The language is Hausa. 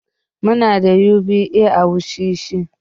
Muna da UBA a wushishi.